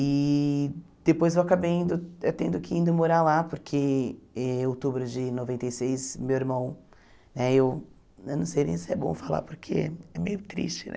E depois eu acabei indo tendo que indo morar lá, porque em outubro de noventa e seis, meu irmão... Eh eu não sei nem se é bom falar, porque é meio triste, né?